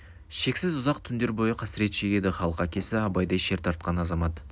шексіз ұзақ түндер бойы қасірет шегеді халық әкесі абайдай шер тартқан азамат